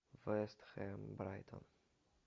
вест хэм брайтон